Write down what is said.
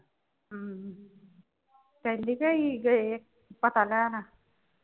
ਹਮ ਪਹਿਲੀ ਗੈਰ ਈ ਗਏ ਇਹ ਪਤਾ ਲੈਣ।